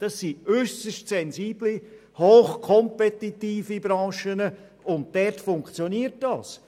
Dies sind äusserst sensible, hochkompetitive Branchen, und dort funktioniert es.